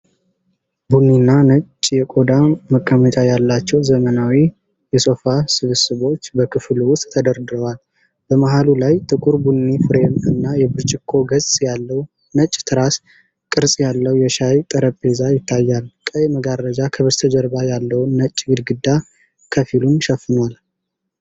ቡኒና ነጭ የቆዳ መቀመጫ ያላቸው ዘመናዊ የሶፋ ስብስቦች በክፍሉ ውስጥ ተደርድረዋል። በመሃሉ ላይ ጥቁር ቡኒ ፍሬም እና የብርጭቆ ገጽ ያለው፣ ነጭ፣ ትራስ ቅርጽ ያለው የሻይ ጠረጴዛ ይታያል። ቀይ መጋረጃ ከበስተጀርባ ያለውን ነጭ ግድግዳ ከፊሉን ሸፍኗል።